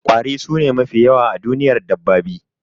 kwari sune mafi yawa a duniyar dabbabi